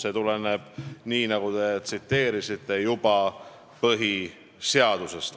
See tuleneb, nii nagu te tsiteerisite, juba põhiseadusest.